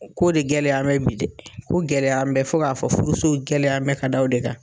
Ko de gɛlɛyamɛ bi dɛ, ko gɛlɛyamɛ fo k'a fɔ furusow gɛlɛyamɛ ka da o de kan.